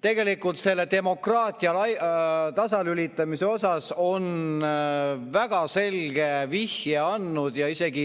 Tegelikult selle demokraatia tasalülitamise kohta on väga selge vihje andnud ja isegi